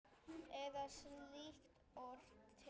Eða er slíkt orð til?